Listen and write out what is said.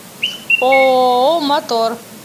ооо мотор